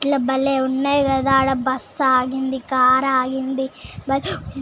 ఇట్ల బలే వున్నాయ్ కదా అక్కడ బస్సు ఆగింది కార్ ఆగింది--